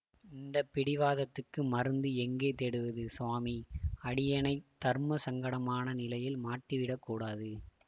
இந்த பிடிவாதத்துக்கு மருந்து எங்கே தேடுவது சுவாமி அடியேனைத் தர்ம சங்கடமான நிலையில் மாட்டிவிடக் கூடாது